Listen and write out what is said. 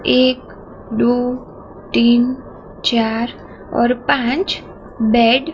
एक दु तीन चार और पांच बैट --